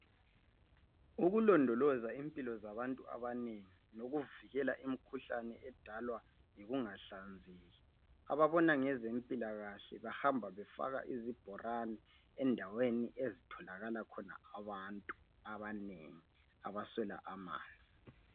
Ukulondoloza impilo zabantu abanengi lokuvikela imikhuhlane edalwa yikungahlanzeki. Ababona ngezempilakahle bahamba bafaka izibhorani endaweni ezitholakala khona abantu abanye abaswela amanzi.